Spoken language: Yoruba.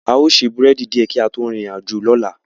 A o se búrẹ́dì die ki a to rin irin ajo lola